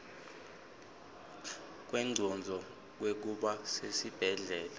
kwengcondvo kwekuba sesibhedlela